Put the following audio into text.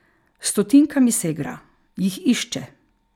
S stotinkami se igra, jih išče.